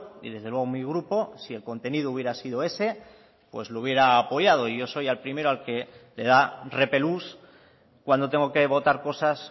y desde luego mi grupo si el contenido hubiera sido ese pues lo hubiera apoyado y yo soy al primero al que le da repelús cuando tengo que votar cosas